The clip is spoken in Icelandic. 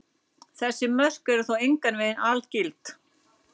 Þessi mörk eru þó engan veginn algild.